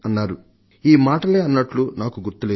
ఆయన సరిగ్గా ఈ మాటలే అన్నట్లు నాకు గుర్తు లేదు